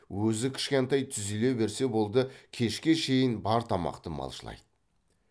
өзі кішкентай түзеле берсе болды кешке шейін бар тамақты малшылайды